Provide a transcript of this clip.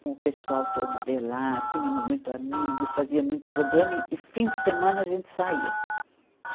com o pessoal todo de lá, tínhamos muitos amigos, fazíamos muitos programas, e e fim de semana a gente saía.